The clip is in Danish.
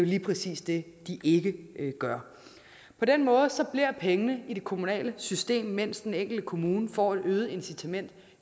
lige præcis det de ikke gør på den måde bliver pengene i det kommunale system mens den enkelte kommune får et øget incitament